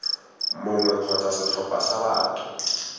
mongwe kgotsa setlhopha sa batho